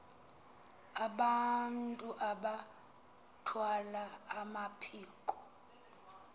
abantu abathwal amaphiko